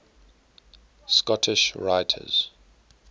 scottish writers